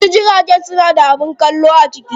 Wasu jiragen suna da abin kallo a ciki.